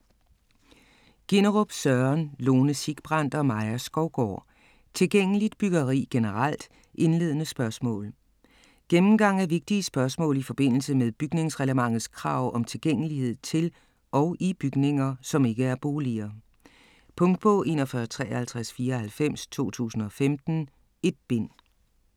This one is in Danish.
Ginnerup, Søren, Lone Sigbrand og Maja Skovgaard: Tilgængeligt byggeri generelt - indledende spørgsmål Gennemgang af vigtige spørgsmål i forbindelse med bygningsreglementets krav om tilgængelighed til og i bygninger, som ikke er boliger. Punktbog 415394 2015. 1 bind.